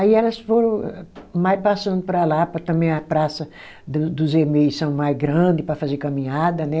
Aí elas foram mais passando para lá, para também a praça do dos emei são mais grande para fazer caminhada, né?